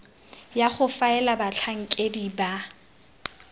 ya go faela batlhankedi ba